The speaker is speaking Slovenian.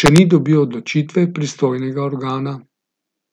še ni dobil odločitve pristojnega organa.